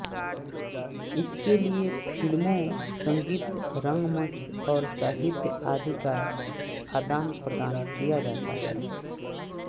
इसके लिए फिल्मों संगीत रंगमंच और साहित्य आदि का आदानप्रदान किया जाता है